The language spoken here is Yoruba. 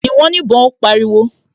"Yìn wọ́n níbọn", Ó pariwo